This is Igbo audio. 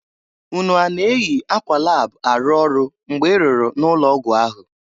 Unu a na-eyi akwa lab arụ ọrụ mgbe i rụrụ n'ụlọ ọgwụ ahụ?